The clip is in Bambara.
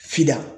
Fida